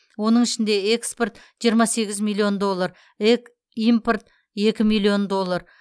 оның ішінде экспорт жиырма сегіз миллион доллар эк импорт екі миллион доллар